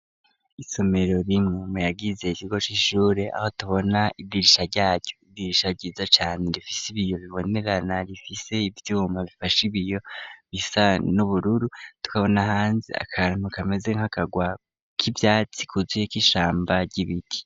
Isomero rimwe muyagize ikigo c'ishure, aho tubona idirisha ryaryo, idirisha ryiza cane rifise ibiyo bibonerana, rifise ivyuma bifashe ibiyo, bisa n'ubururu, tukabona hanze akantu kameze nk'akagwa k'ivyatsi kuzuyeko ishamba ry'ibiti.